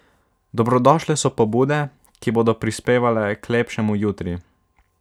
Dobrodošle so pobude, ki bodo prispevale k lepšemu jutri.